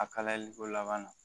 A kalayali ko laban na